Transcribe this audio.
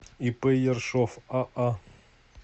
ип ершов аа